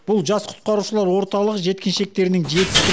бұл жас құтқарушылар орталығы жеткіншектерінің жетістік